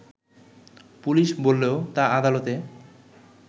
police বললেও তা আদালতে